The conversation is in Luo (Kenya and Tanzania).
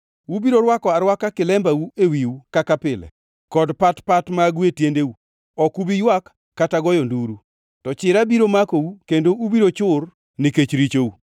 Ubiro rwako arwaka kilembau ewiu kaka pile, kod pat pat magu e tiendeu. Ok ubi ywak kata goyo nduru, to chira biro makou kendo ubiro chur nikech richou.